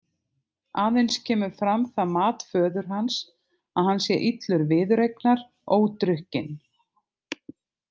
Aðeins kemur fram það mat föður hans að hann sé illur viðureignar ódrukkinn.